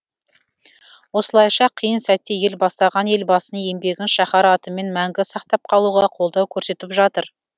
осылайша қиын сәтте ел бастаған елбасының еңбегін шаһар атымен мәңгі сақтап қалуға қолдау көрсетіп жатыр